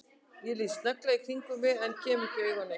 Ég lít snögglega í kringum mig en kem ekki auga á neitt.